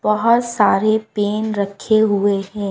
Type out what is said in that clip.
बहोत सारे पेन रखे हुए है।